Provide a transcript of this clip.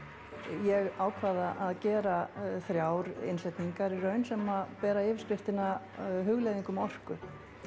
ég ákvað að að gera þrjár innsetningar í raun sem bera yfirskriftina hugleiðing um orku